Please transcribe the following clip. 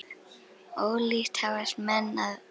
Ólíkt hafast menn að.